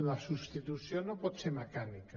la substitució no pot ser mecànica